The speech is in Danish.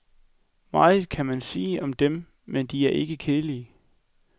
Meget kan man sige om dem, men de er ikke kedelige.